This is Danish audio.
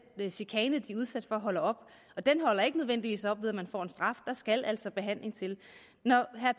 chikane de er udsat for holder op og den holder ikke nødvendigvis op ved at man får en straf der skal altså behandling til når herre